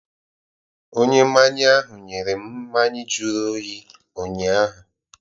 Onye mmanya ahụ nyere m mmanya jụrụ oyi ụnyaahụ.